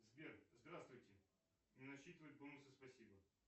сбер здравствуйте не насчитывает бонусы спасибо